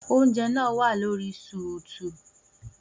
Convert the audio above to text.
Oúnjẹ náà wà lórí sùùtù